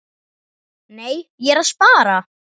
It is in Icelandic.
Nei, ég er að spara.